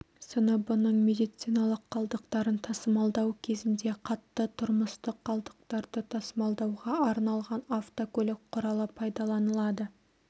сыныбының медициналық қалдықтарын тасымалдау кезінде қатты тұрмыстық қалдықтарды тасымалдауға арналған автокөлік құралы пайдаланылады